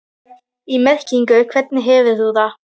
í merkingunni hvernig hefur þú það?